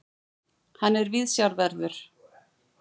Hann er viðsjárverður.